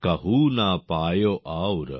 কাহু না পায়ো ওউর